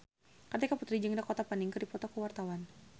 Kartika Putri jeung Dakota Fanning keur dipoto ku wartawan